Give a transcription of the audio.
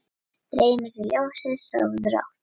Dreymi þig ljósið, sofðu rótt